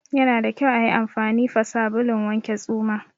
Yana da kyau ayi anfani fa sabulun wanke tsuma